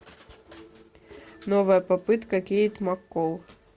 новая попытка кейт маккол